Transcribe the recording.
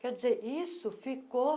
Quer dizer, isso ficou...